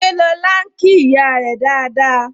Ṣé lọ́la ń kí ìyá rẹ dáadáa?